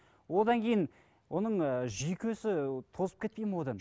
одан кейін оның ыыы жүйкесі тозып кетпей ме одан